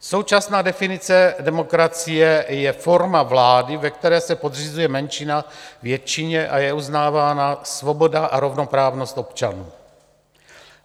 Současná definice demokracie je forma vlády, ve které se podřizuje menšina většině a je uznávána svoboda a rovnoprávnost občanů.